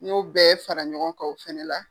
N y'o bɛɛ fara ɲɔgɔn kan o fɛnɛ la.